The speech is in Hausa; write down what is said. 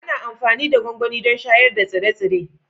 Ana amfani da gwangwani don shayar da tsire-tsire